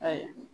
Ayiwa